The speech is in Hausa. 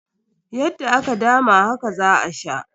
Yadda aka dama haka za a sha.